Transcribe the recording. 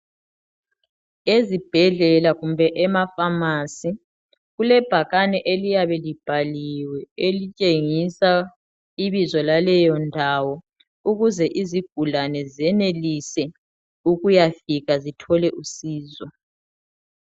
Ezibhedlela kumbe emafamasi kulebhakane eliyabe libhaliwe elitshengisa ibizo laleyo ndawo, ukuze izigulane zenelise ukuyafika zithole usizo.